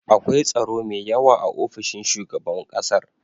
akwai tsaro me yawa a ofishin shugaban ƙasar